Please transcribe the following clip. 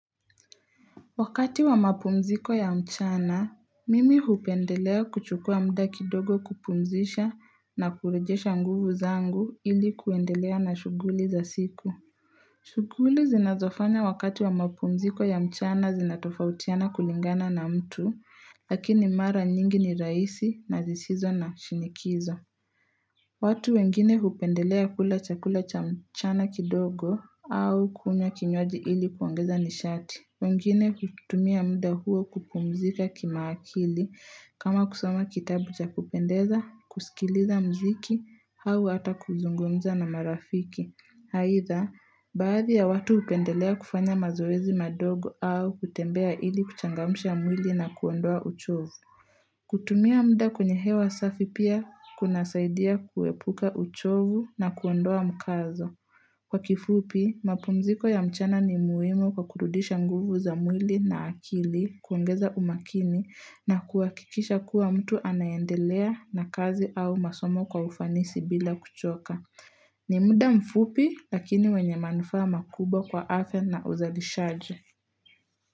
Wakati wa mapumziko ya mchana, mimi hupendelea kuchukua muda kidogo kupumzisha na kurejesha nguvu zangu ili kuendelea na shuguli za siku. Shughuli zinazofanya wakati wa mapumziko ya mchana zinatofautiana kulingana na mtu, lakini mara nyingi ni raisi na zisizo na shinikizo. Watu wengine hupendelea kula chakula cha mchana kidogo au kunya kinyoaji ili kuongeza nishati. Wengine kutumia muda huo kupumzika kima akili kama kusoma kitabu cha kupendeza, kusikiliza mziki, hau hata kuzungumza na marafiki. Haitha, baadhi ya watu hupendelea kufanya mazoezi madogo au kutembea ili kuchangamusha mwili na kuondoa uchovu. Kutumia muda kwenye hewa safi pia kuna saidia kuwepuka uchovu na kuondoa mkazo Kwa kifupi mapumziko ya mchana ni muhimo kwa kurudisha nguvu za mwili na akili kuongeza umakini na kuhakikisha kuwa mtu anayendelea na kazi au masomo kwa ufanisi bila kuchoka ni muda mfupi lakini wenye manufaa makubwa kwa afya na uzalishajo.